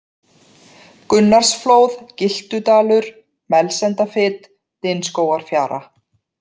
Gunnarsflóð, Gyltudalur, Melsendafit, Dynskógafjara